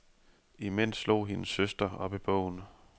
Imens slog hendes søster op i bogen.